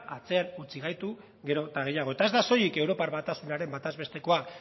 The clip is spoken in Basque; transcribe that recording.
atzean utzi gaitu gero eta gehiago eta ez da soilik europar batasunaren batez bestekoa